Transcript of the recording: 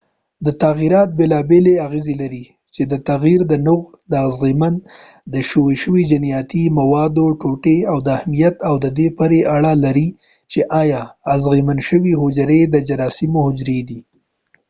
تغیرات بيلا بيلې اغيزي لري چې د تغير د نوع د اغيزمن شويو جنياتي موادو ټوټې د اهمیت او د دې پورې اړه لري چې آيا اغيزمن شوي حجرې د جراثيمو حجري دي